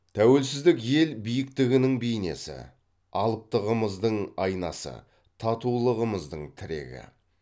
тәуелсіздік ел биіктігінің бейнесі алыптығымыздың айнасы татулығымыздың тірегі